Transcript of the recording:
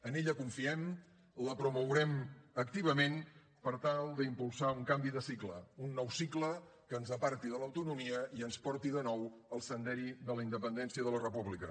en ella confiem la promourem activament per tal d’impulsar un canvi de cicle un nou cicle que ens aparti de l’autonomia i ens porti de nou al sender de la independència i de la república